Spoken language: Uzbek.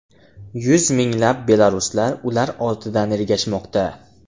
Yuz minglab belaruslar ular ortidan ergashmoqda.